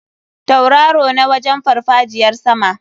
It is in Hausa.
Tauraro na wajen farfajiyar sama.